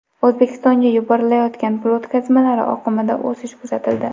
O‘zbekistonga yuborilayotgan pul o‘tkazmalari oqimida o‘sish kuzatildi.